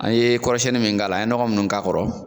An ye kɔrɔsɛni mun k'a la an ye ɲɔgɔ mun k'a kɔrɔ